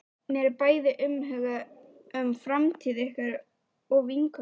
Mér er bæði umhugað um framtíð ykkar og vinkonu minnar.